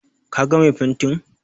Ka ga mai fentin?